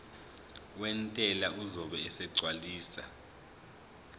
wentela uzobe esegcwalisa